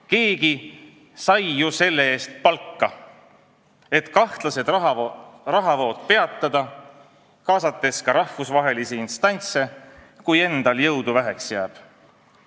Keegi sai ju selle eest palka, et ta kahtlaseid rahavoogusid peataks, kaasates ka rahvusvahelisi instantse, kui endal jõudu väheks jääb.